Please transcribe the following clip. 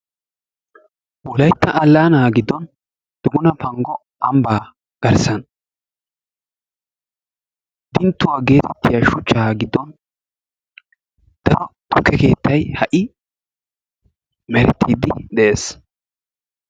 Wolaytta allaana giddon duguna panggo ambba garssan dinttuwaa geetettiya shuchcha giddon daro tukke keettay ha'i merettiiddi de'ees.